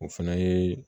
O fana ye